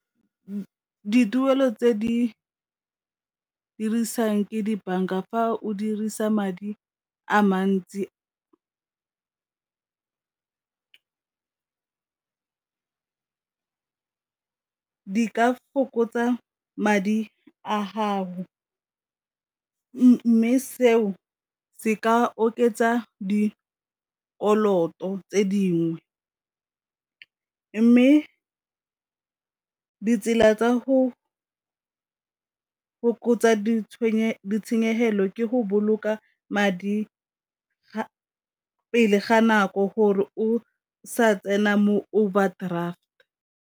Dituelo tse di dirisang ke dibanka a fa o dirisa madi a mantsi di ka fokotsa madi a haho, mme seo se ka oketsa dikoloto tse dingwe, mme ditsela tsa go fokotsa ditshenyegelo ke go boloka madi pele ga nako gore o sa tsena mo overdraft.